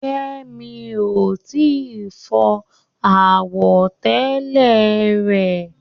Kẹ́mi ò tí ì fọ àwọ̀tẹ́lẹ̀ rẹ̀.